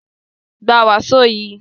Gba wàsó yìí!